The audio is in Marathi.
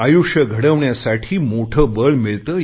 आयुष्य घडविण्यासाठी मोठे बळ मिळते